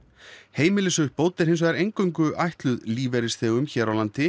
heimilisuppbót er hins vegar eingöngu ætluð lífeyrisþegum hér á landi